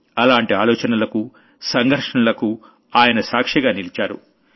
అలాంటి ఆలోచనలకు సంఘర్షణలకు ఆయన సాక్షిగా నిలిచారు